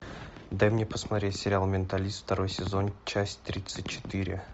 дай мне посмотреть сериал менталист второй сезон часть тридцать четыре